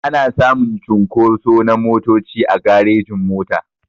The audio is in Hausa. Ana samun cunkoso na motoci a garejin-mota.